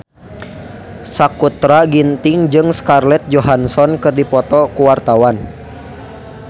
Sakutra Ginting jeung Scarlett Johansson keur dipoto ku wartawan